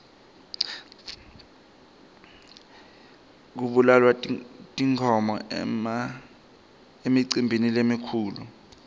kubulawa tinkhomo emicimbini lemikhulu